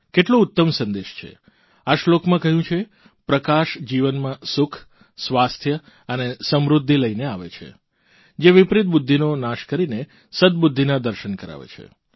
કેટલો ઉત્તમ સંદેશ છે આ શ્લોકમાં કહ્યું છે પ્રકાશ જીવનમાં સુખ સ્વાસ્થ્ય અને સમૃદ્ધિ લઇને આવે છે જે વિપરીત બુદ્ધિનો નાશ કરીને સદબુદ્ધિના દર્શન કરાવે છે